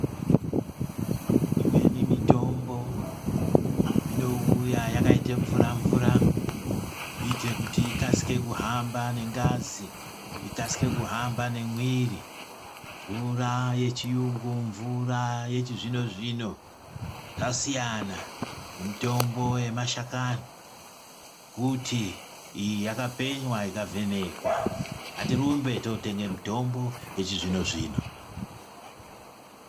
Imweni mitombo inouya yakaite mvura mvura kuitire kuti ikasike kuhamba nengazi, ikasike kuhamba nemwiri. Mvura yechi yungu mvura yechi zvino zvino yasiyana nemitombo yema shakani kuti iyi yaka penywa ika vhenekwa. Hatirumbe too tenge mutombo yechi zvino zvino.